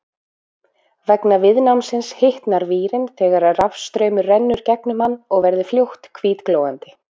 Vegna viðnámsins hitnar vírinn þegar rafstraumur rennur gegnum hann og verður fljótt hvítglóandi.